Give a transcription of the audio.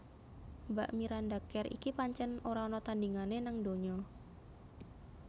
Mbak Miranda Kerr iki pancen ora ana tandingane nang donya